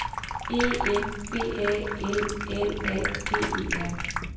E M B A L L A G E R